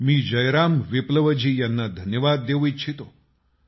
मी जयराम विप्लवजी यांना धन्यवाद देऊ इच्छितो